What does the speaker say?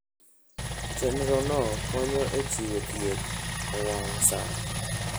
Chenrono konyo e chiwo thieth e wang' sa.